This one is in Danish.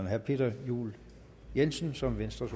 herre peter juel jensen som venstres